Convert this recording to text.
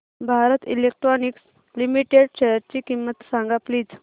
Bharat electronics limited शेअरची किंमत सांगा प्लीज